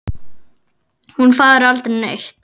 Hún fari aldrei neitt.